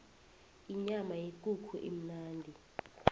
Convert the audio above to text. inyama yekukhu imnandi